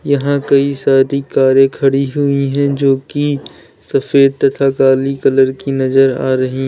यहां कई सारी कारे खड़ी हुई है जो की सफेद तथा काली कलर की नजर आ रही--